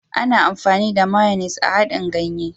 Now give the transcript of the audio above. Ana amfani da " mayonnaise " a haɗin ganye.